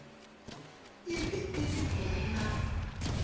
e be e le monna